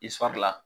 I fari la